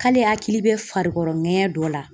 K'ale hakili be farikɔrɔ ŋɛɲɛ dɔ la.